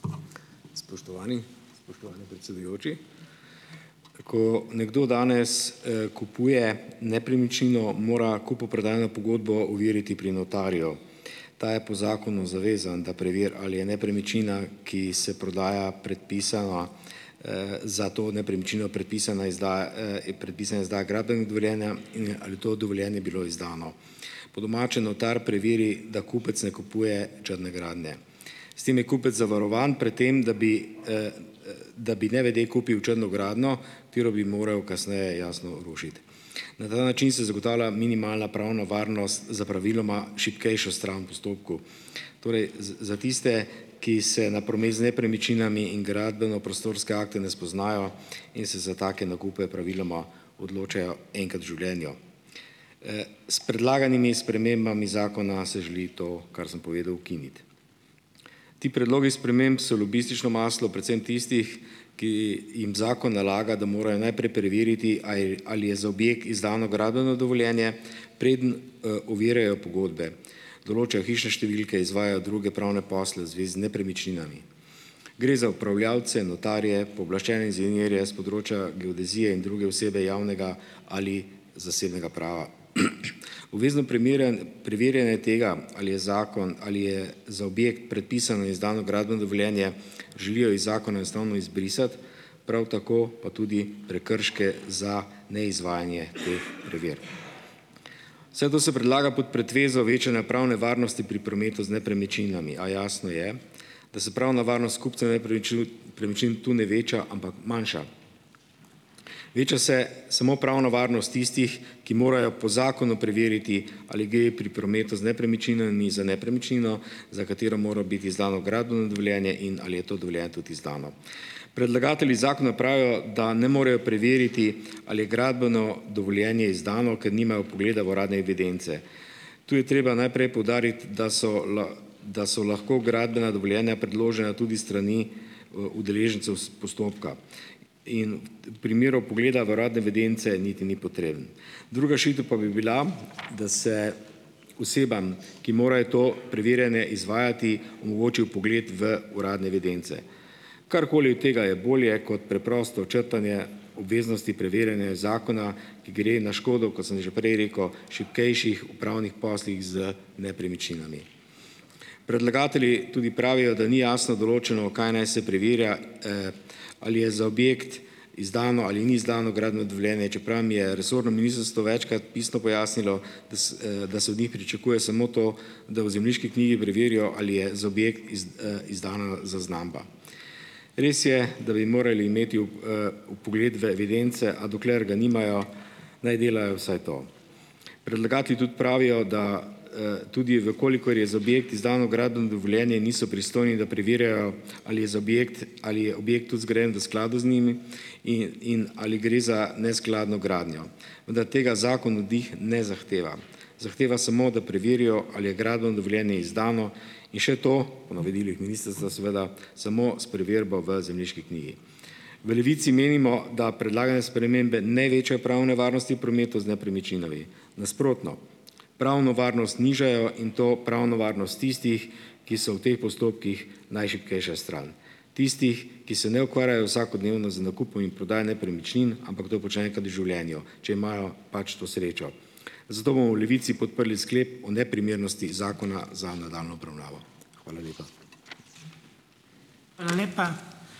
Spoštovani! Spoštovani predsedujoči! Ko nekdo danes, kupuje nepremičnino, mora kupoprodajno pogodbo overiti pri notarju. Ta je po zakonu zavezan, da preveri, ali je nepremičnina, ki se prodaja, predpisana, za to nepremičnino predpisana izdaja, je predpisana izdaja gradbenega dovoljenja in ali to dovoljenje je bilo izdano. Po domače, notar preveri, da kupec ne kupuje črne gradnje. S tem je kupec zavarovan pred tem, da bi da bi nevede kupil črno gradnjo, katero bi moral kasneje, jasno, rušiti. Na ta način se zagotavlja minimalna pravna varnost za praviloma šibkejšo stran v postopku, torej za tiste, ki se na promet z nepremičninami in gradbeno-prostorske akte ne spoznajo in se za take nakupe praviloma odločajo enkrat v življenju. S predlaganimi spremembami zakona se želi to, kar sem povedal, ukiniti. Ti predlogi sprememb so lobistično maslo predvsem tistih, ki jim zakon nalaga, da morajo najprej preveriti, a je, ali je za objekt izdano gradbeno dovoljenje, preden, overjajo pogodbe, določajo hišne številke, izvajajo druge pravne posle v zvezi z nepremičninami. Gre za upravljavce, notarje, pooblaščene inženirje s področja geodezije in druge osebe javnega ali zasebnega prava. Obvezno preverjanje tega, ali je zakon ali je za objekt predpisano in izdano gradbeno dovoljenje, želijo iz zakona enostavno izbrisati. Prav tako pa tudi prekrške za neizvajanje teh preverb. Vse to se predlaga pod pretvezo večanja pravne varnosti pri prometu z nepremičninami, a jasno je, da se pravna varnost kupca nepremičnin premičnin tu ne veča, ampak manjša. Veča se samo pravna varnost tistih, ki morajo po zakonu preveriti, ali gre pri prometu z nepremičninami za nepremičnino, za katero mora biti izdano gradbeno dovoljenje, in ali je to dovoljenje tudi izdano. Predlagatelji zakona pravijo, da ne morejo preveriti, ali je gradbeno dovoljenje izdano, ker nimajo vpogleda v uradne evidence. Tu je treba najprej poudariti, da so da so lahko gradbena dovoljenja predložena tudi s strani, udeležencev s postopka. In primeru vpogleda v uradne evidence niti ni potreben. Druga rešitev pa bi bila, da se osebam, ki morajo to preverjanje izvajati, omogoči vpogled v uradne evidence. Karkoli od tega je bolje kot preprosto črtanje obveznosti preverjanja zakona, ki gre na škodo, kot sem že prej rekel, šibkejših v pravnih poslih z nepremičninami. Predlagatelji tudi pravijo, da ni jasno določeno, kaj naj se preverja, ali je za objekt izdano ali ni izdano gradbeno dovoljenje, čeprav mi je resorno ministrstvo večkrat pisno pojasnilo, da s, da se od njih pričakuje samo to, da v zemljiški knjigi preverijo, ali je za objekt izdana zaznamba. Res je, da bi morali imeti vpogled v evidence, a dokler ga nimajo, naj delajo vsaj to. Predlagatelji tudi pravijo, da, tudi v kolikor je za objekt izdano gradbeno dovoljenje, niso pristojni, da preverjajo, ali je za objekt - ali je objekt tudi zgrajen v skladu z njimi in ali gre za neskladno gradnjo. Vendar tega zakon od njih ne zahteva. Zahteva samo, da preverijo, ali je gradbeno dovoljenje izdano. In še to - po navodilih ministrstva, seveda - samo s preverbo v zemljiški knjigi. V Levici menimo, da predlagane spremembe ne večajo pravne varnosti v prometu z nepremičninami. Nasprotno. Pravno varnost nižajo in to pravno varnost tistih, ki so v teh postopkih najšibkejša stran, tistih, ki se ne ukvarjajo vsakodnevno z nakupom in prodajo nepremičnin, ampak to počnejo enkrat v življenju, če imajo pač to srečo. Zato bomo v Levici podprli sklep o neprimernosti zakona za nadaljnjo obravnavo. Hvala lepa.